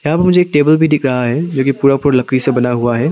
यहां मुझे एक टेबल भी दिख रहा है जो कि पूरा पूरा लकड़ी से बना हुआ है।